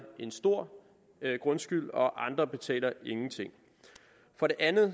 en stor grundskyld og andre betaler ingenting for det andet